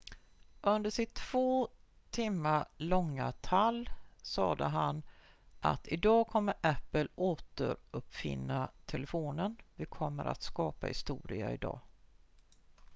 "under sitt två timmar långa tall sade han att "idag kommer apple återuppfinna telefonen vi kommer skapa historia idag"".